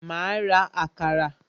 Ma ra àkàrà